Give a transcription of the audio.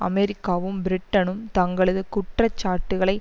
அமெரிக்காவும் பிரிட்டனும் தங்களது குற்றச்சாட்டுக்களை